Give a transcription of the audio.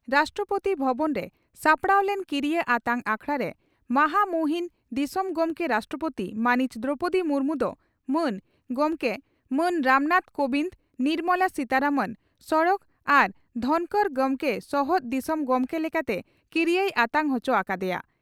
ᱨᱟᱥᱴᱨᱚᱯᱳᱛᱤ ᱵᱷᱚᱵᱚᱱ ᱨᱮ ᱥᱟᱯᱲᱟᱣ ᱞᱮᱱ ᱠᱤᱨᱤᱭᱟᱹ ᱟᱛᱟᱝ ᱟᱠᱷᱲᱟ ᱨᱮ ᱢᱟᱦᱟ ᱢᱩᱦᱤᱱ ᱫᱤᱥᱚᱢ ᱜᱚᱢᱠᱮ (ᱨᱟᱥᱴᱨᱚᱯᱳᱛᱤ) ᱢᱟᱹᱱᱤᱡ ᱫᱨᱚᱣᱯᱚᱫᱤ ᱢᱩᱨᱢᱩ ᱫᱚ ᱢᱟᱱ ᱜᱚᱢᱠᱮ ᱢᱟᱱ ᱨᱟᱢᱱᱟᱛᱷ ᱠᱚᱵᱤᱱᱫᱽ ᱱᱚᱨᱢᱚᱞᱟ ᱥᱤᱛᱟᱨᱟᱢᱚᱱ ᱥᱚᱲᱚᱠ ᱟᱨ ᱫᱷᱚᱱᱠᱚᱨ ᱜᱚᱢᱠᱮ ᱥᱚᱦᱚᱫ ᱫᱤᱥᱚᱢ ᱜᱚᱢᱠᱮ ᱞᱮᱠᱟᱛᱮ ᱠᱤᱨᱤᱭᱟᱹᱭ ᱟᱛᱟᱝ ᱚᱪᱚ ᱟᱠᱟᱫᱮᱭᱟ ᱾